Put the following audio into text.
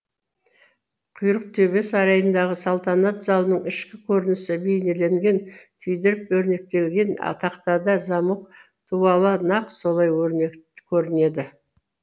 құйрықтөбе сарайындағы салтанат залының ішкі көрінісі бейнеленген күйдіріп өрнектелген тақтада замок дуалы нақ солай көрінеді